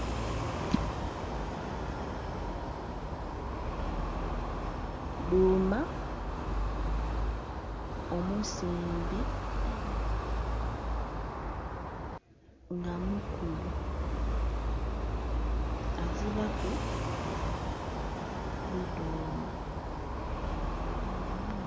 Dhuma omusimbe nga mukulu azira ku bidhuma.